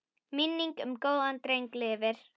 Minning um góðan dreng lifir.